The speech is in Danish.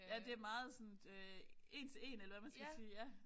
Ja det meget sådan én til én eller hvad man skal sige ja